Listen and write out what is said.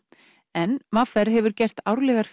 en v r hefur gert árlegar